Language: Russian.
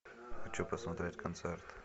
хочу посмотреть концерт